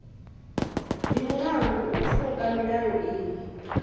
ndi mulandu u pfuka milayo iyi